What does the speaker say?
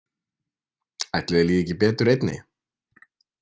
Ætli þér líði ekki betur einni?